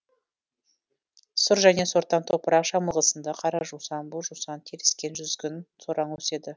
сұр және сортаң топырақ жамылғысында қара жусан боз жусан теріскен жүзгін сораң өседі